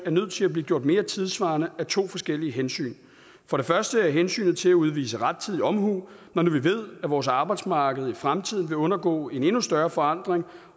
er nødt til at blive gjort mere tidssvarende af to forskellige hensyn for det første hensynet til at udvise rettidig omhu når nu vi ved at vores arbejdsmarked i fremtiden vil undergå en endnu større forandring